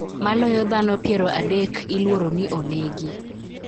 Maloyo dhano piero adek iliuro ni onegi